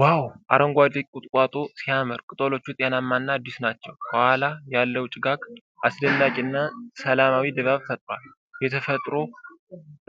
ዋው! አረንጓዴ ቁጥቋጦ ሲያምር! ቅጠሎቹ ጤናማ እና አዲስ ናቸው። ከኋላ ያለው ጭጋግ አስደናቂ እና ሰላማዊ ድባብ ፈጥሯል። የተፈጥሮ